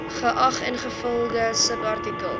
geag ingevolge subartikel